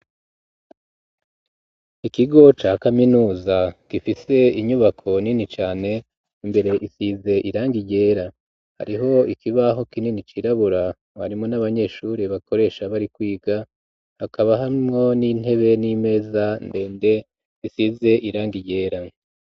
Ikigo ca kaminuza gifise inyubako nini cane imbere isize irangi ryera hariho ikibaho kinini cirabura warimo n'abanyeshuri bakoresha bari kwiga hakaba harimwo n'intebe n'imeza ndende bisize irangi ryera